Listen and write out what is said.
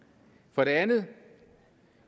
for det andet